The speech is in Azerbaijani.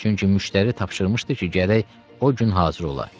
Çünki müştəri tapşırmışdı ki, gərək o gün hazır ola.